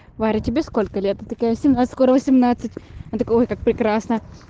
варя тебе сколько лет ты такая семнадцать скоро восемнадцать он такой ой как прекрасно